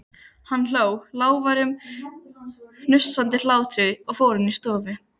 Hann hló, lágværum, hnussandi hlátri og fór inn í stofu.